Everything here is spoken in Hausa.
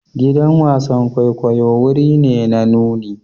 Gidan wasan kwaikwayo wuri ne na nuni.